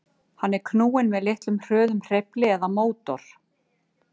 Hann er knúinn með litlum hröðum hreyfli eða mótor.